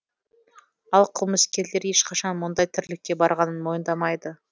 ал қылмыскерлер ешқашан мұндай тірлікке барғанын мойындамайды